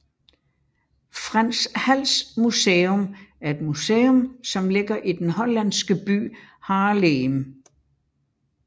Frans Hals Museum er et museum som ligger i den hollandske by Haarlem